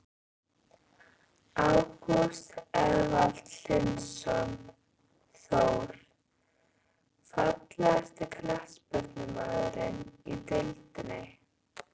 Ágúst Eðvald Hlynsson, Þór.Fallegasti knattspyrnumaðurinn í deildinni?